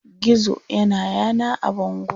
Gizo ya na yana a bango.